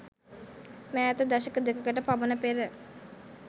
මෑත දශක දෙකකට පමණ පෙර